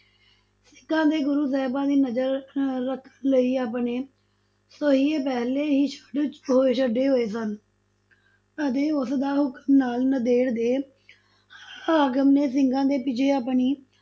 ਸਿਖਾਂ ਤੇ ਗੁਰੂ ਸਾਹਿਬਾਂ ਤੇ ਨਜ਼ਰ ਰੱਖਣ ਰੱਖਣ ਲਈ ਆਪਣੇ ਸੁਹੀਏ ਪਹਿਲੇ ਹੀ ਛੱਡ ਹੋਏ ਛੱਡੇ ਹੋਏ ਸਨ, ਅਤੇ ਉਸਦਾ ਹੁਕਮ ਨਾਲ ਨੰਦੇੜ ਦੇ ਹਾਕਮ ਨੇ ਸਿੰਘਾਂ ਦੇ ਪਿੱਛੇ ਆਪਣੀ